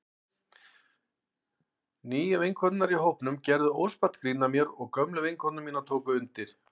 Nýju vinkonurnar í hópnum gerðu óspart grín að mér og gömlu vinkonur mínar tóku undir.